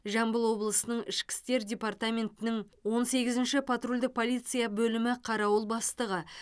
жамбыл облысының ішкі істер департаментінің он сегізінші потрульдік полиция бөлімі қарауыл бастығы